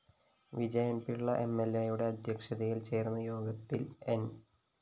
വിജയന്‍പിള്ള എംഎല്‍എയുടെ അദ്ധ്യക്ഷതയില്‍ ചേര്‍ന്ന യോഗത്തില്‍ ന്‌